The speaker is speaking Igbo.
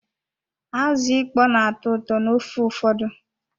Azụ ịkpọ n'atọ ụtọ n'ofe ụfọdụ.